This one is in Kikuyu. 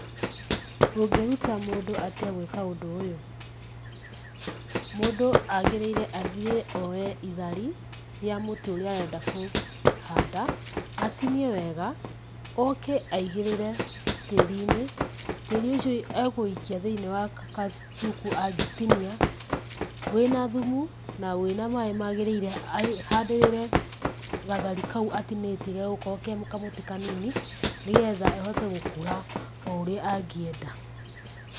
Ũngĩruta mũndũ atĩa gwĩka ũndũ ũyũ? Mũndũ agĩrĩire athiĩ oye ithari, rĩa mũtĩ ũrĩa arenda kũhanda, atinie wega, oke aigĩrĩre tĩri-inĩ, tĩri ũcio akũũikia thĩ-inĩ wa gathuku angĩtinia, wĩna thumu na wĩna maĩĩ magĩrĩire, ahandĩrĩre gathari kau atinĩtie gegũkorwo ke kamũtĩ kanini, nĩ getha kahote gũkũra o ũrĩa angĩenda.